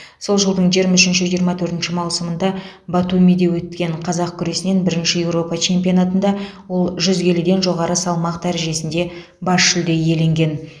сол жылдың жиырма үшінші жиырма төртінші маусымында батумиде өткен қазақ күресінен бірінші еуропа чемпионатында ол жүз келіден жоғары салмақ дәрежесінде бас жүлде иеленген